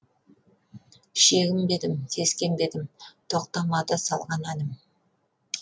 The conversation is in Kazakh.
шегінбедім сескенбедім тоқтамады салған әнім